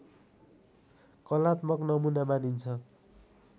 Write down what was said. कलात्मक नमुना मानिन्छ